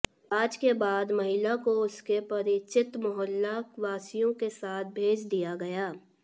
जांच के बाद महिला को उसके परिचित मोहल्ला वासियों के साथ भेज दिया गया